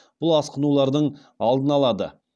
бұл асқынулардың алдын алады